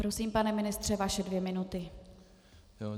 Prosím, pane ministře, vaše dvě minuty.